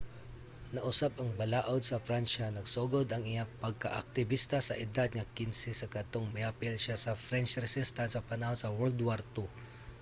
nausab ang balaud sa pransya. nagsugod ang iyang pagkaaktibista sa edad nga 15 sa kadtong miapil siya sa french resistance sa panahon sa world war ii